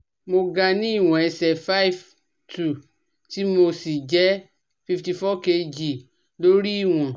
Mo ga ni Ìwọ̀n ẹsẹ̀ five two tí mo sì jẹ́ fifty four Kg ló rí ìwọ̀n